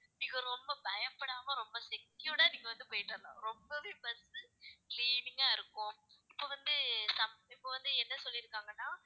நீங்க ரொம்ப பயப்படாம ரொம்ப secured ஆ நீங்க வந்து போயிட்டு வரலாம். ரொம்பவே best cleaning ஆ இருக்கும் இப்ப வந்து இப்ப வந்து, என்ன சொல்லிருக்காங்கன்னா